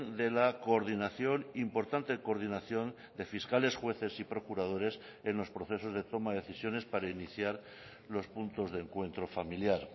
de la coordinación importante coordinación de fiscales jueces y procuradores en los procesos de toma de decisiones para iniciar los puntos de encuentro familiar